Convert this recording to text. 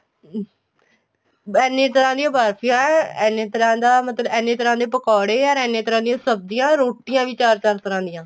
ਐਨੇ ਤਰ੍ਹਾਂ ਦੀਆ ਬਰ੍ਫੀਆਂ ਐਨੇ ਤਰ੍ਹਾਂ ਦਾ ਮਤਲਬ ਐਨੇ ਤਰ੍ਹਾਂ ਦੇ ਪਕੋੜੇ ਔਰ ਐਨੇ ਤਰ੍ਹਾਂ ਦੀਆ ਸਬਜੀਆਂ ਰੋਟੀਆਂ ਵੀ ਚਾਰ ਚਾਰ ਤਰ੍ਹਾਂ ਦੀਆ